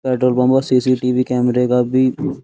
Petrol pump और सी.सी.टी.वी. कैमरे का भी --